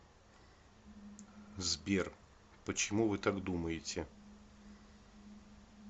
сбер почему вы так думаете